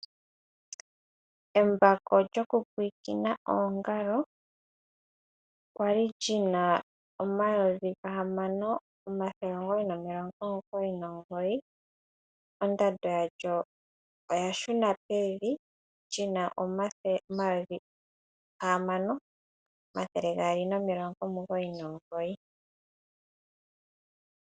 Embako lyokupulakena oongalo, kwali lyina omayovi ga hamano omathele omugoyi nomilongo omugoyi nomugoyi. Ondando lyalyo olya shuna pevi, lyina omayovi ga hamano omathele gaali nomilongo omugoyi nomugoyi.